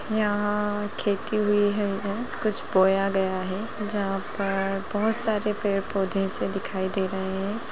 यहाँ खेती हुई है कुछ बोया गया है जहाँ पर बहोत सारे पौधे से दिखाई दे रहे हैं।